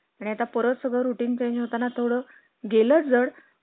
आणि आता परत सगळं routine change होताना थोडं गेलंच झड